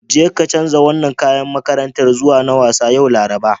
Jeka canza wannan kayan makarantar zuwa na wasa, yau Laraba.